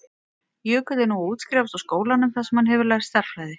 Jökull er nú að útskrifast úr skólanum þar sem hann hefur lært stærðfræði.